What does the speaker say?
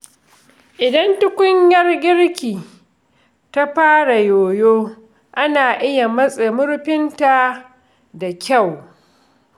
Idan tukunyar girki ta fara yoyo, ana iya matse murfinta da kyau.